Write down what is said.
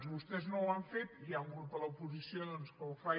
vostès no ho han fet i hi ha un grup de l’oposició doncs que ho fa